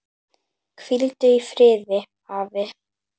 Hvíldu í friði, afi.